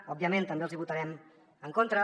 òbviament també els hi votarem en contra